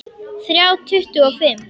Þrjá tuttugu og fimm!